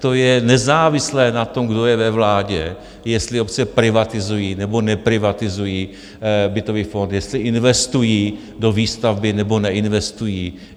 to je nezávislé na tom, kdo je ve vládě, jestli obce privatizují nebo neprivatizují bytový fond, jestli investují do výstavby nebo neinvestují.